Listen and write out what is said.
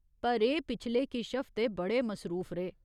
पर एह् पिछले किश हफ्ते बड़े मसरूफ रेह्।